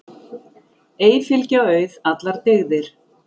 Ei fylgja auð allar dygðir.